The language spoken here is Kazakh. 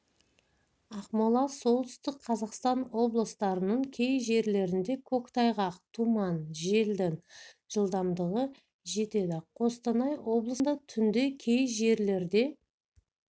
ақмола солтүстік қазақстан облыстарының кей жерлерінде көктайғақ тұман желдің жылдамдығы жетеді қостанай облысында түнде кей жерлерде